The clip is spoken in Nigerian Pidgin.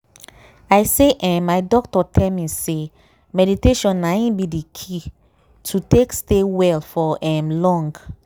i say eeh my doctor tell me say meditation na in be the key to take stay well for um long.